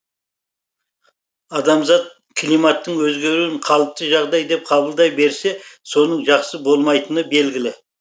адамзат климаттың өзгеруін қалыпты жағдай деп қабылдай берсе соңы жақсы болмайтыны белгілі